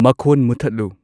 ꯃꯈꯣꯟ ꯃꯨꯨꯊꯠꯂꯨ